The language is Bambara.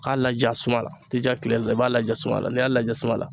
K'a laja suma la i tɛ ja kile la i b'a laja suma n'i y'a laja suman